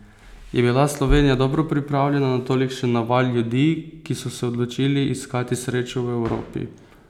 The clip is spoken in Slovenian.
Je bila Slovenija dobro pripravljena na tolikšen naval ljudi, ki so se odločili iskati srečo v Evropi?